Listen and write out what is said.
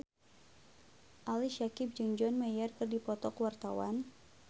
Ali Syakieb jeung John Mayer keur dipoto ku wartawan